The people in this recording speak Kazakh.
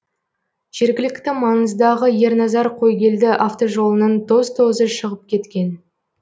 жергілікті маңыздағы ерназар қойгелді автожолының тоз тозы шығып кеткен